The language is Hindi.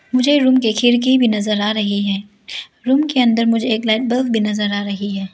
मुझे रूम के खिड़की भी नजर आ रही हैं रूम के अंदर मुझे एक लाइट बल्ब भी नजर आ रही है।